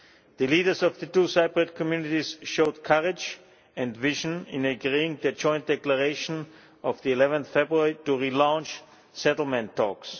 The leaders of the two Cypriot communities showed courage and vision in agreeing the joint declaration of 11 February, to relaunch settlement talks.